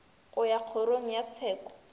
go ya kgorong ya tsheko